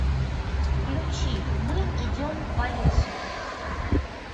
включи мы идем по лесу